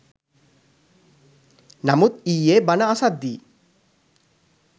නමුත් ඊයෙ බණ අසද්දී